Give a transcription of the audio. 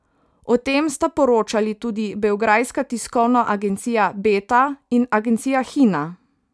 O tem sta poročali tudi beograjska tiskovna agencija Beta in agencija Hina.